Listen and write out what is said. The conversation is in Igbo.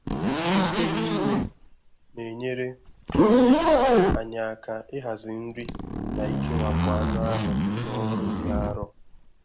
Nkwenye ime na-enyere anyị aka ịhazi nri na ikewapụ anụ ahụ na ọrụ dị arọ.